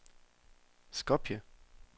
Skopje